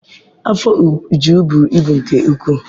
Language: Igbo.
Afọ Uju buru ibu nke ukwuu.